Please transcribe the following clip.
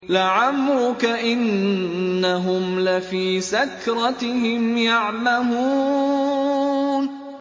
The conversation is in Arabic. لَعَمْرُكَ إِنَّهُمْ لَفِي سَكْرَتِهِمْ يَعْمَهُونَ